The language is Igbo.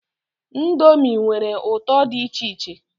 Ndomi nwere ụtọ dị icheiche